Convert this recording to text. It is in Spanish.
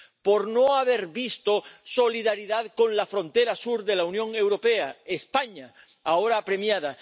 Por no haber visto solidaridad con la frontera sur de la Unión Europea, con España, ahora apremiada.